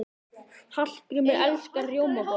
Hallgrímur elskar rjómabollur.